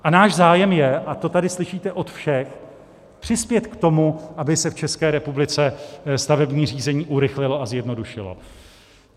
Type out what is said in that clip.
A náš zájem je, a to tady slyšíte od všech, přispět k tomu, aby se v České republice stavební řízení urychlilo a zjednodušilo.